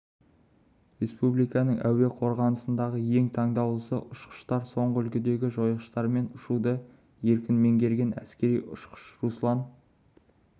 республиканың әуе қорғанысындағы ең таңдаулысы ұшқыштар соңғы үлгідегі жойғыштармен ұшуды еркін меңгерген әскери ұшқыш руслан